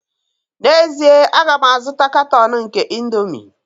N'ezie, a ga m azụta katọn nke indomie